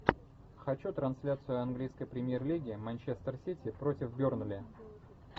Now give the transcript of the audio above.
хочу трансляцию английской премьер лиги манчестер сити против бернли